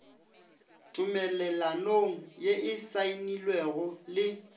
tumelelanong ye e saenilwego le